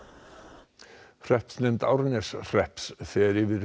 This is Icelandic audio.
hreppsnefnd Árneshrepps fer yfir